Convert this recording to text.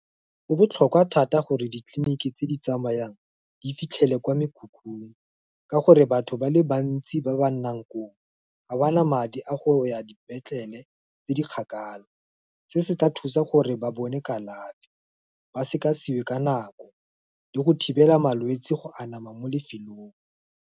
Go botlhokwa thata gore ditleliniki tse di tsamayang, di fitlhele kwa mekhukhung, ka gore batho ba le bantsi, ba ba nnang koo, ga bana madi a go ya dipetlele tse di kgakala, se se tla thusa gore ba bone kalafi, ba sekasekwe ka nako, le go thibela malwetsi go anama mo lefelong.